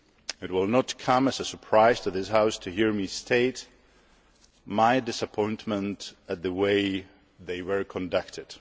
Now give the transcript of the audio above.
It will not come as a surprise to this House to hear me state my disappointment at the way they were conducted.